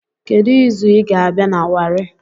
Kedu izu ịga-abịa na Wari